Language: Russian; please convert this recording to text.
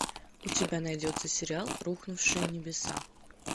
у тебя найдется сериал рухнувшие небеса